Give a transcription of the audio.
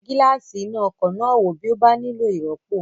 Yẹ gíláàsì iná ọkọ̀ náà wò bí ó bá nílò ìrọ́pò